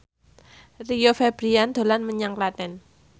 Rio Febrian dolan menyang Klaten